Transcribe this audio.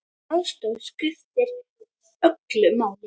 Þessi aðstoð skiptir öllu máli.